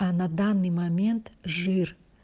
а на данный момент жир